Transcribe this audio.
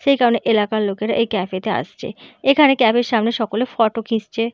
সেই কারণে এলাকার লোকেরা এই কাফে -তে আসছে । এখানে ক্যাফ -এর সামনে সকলে ফটো খিচছে ।